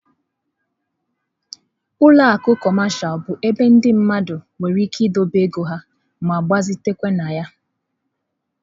Ụlọ akụ cọmashal bụ ebe ndị mmadụ nwere ike idobe ego ha ma gbazitekwa na ya.